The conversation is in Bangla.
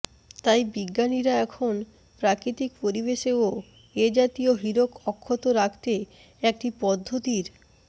তাই বিজ্ঞানীরা এখন প্রাকৃতিক পরিবেশেও এ জাতীয় হীরক অক্ষত রাখতে একটি পদ্ধতির